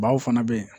Baw fana bɛ yen